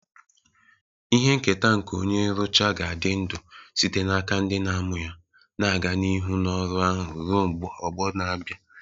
Ihe nketa nke onye nrụcha ga-adị ndụ site n'aka ndị na-amụ ya, na-aga n'ihu n'ọrụ ahụ ruo ọgbọ na-abịa.